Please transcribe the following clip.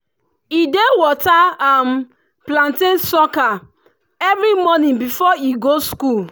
e dey water um plantain sucker every morning before e go school.